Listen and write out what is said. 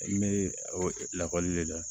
N bɛ o lakɔli de la